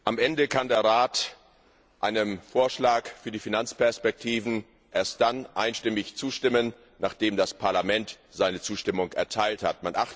Am Ende kann der Rat einem Vorschlag für die Finanzperspektiven erst einstimmig zustimmen, nachdem das Parlament seine Zustimmung erteilt hat.